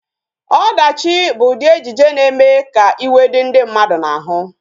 Ọdachi bụ ụdị ejije na-eme ka iwe dị ndị mmadụ n'ahụ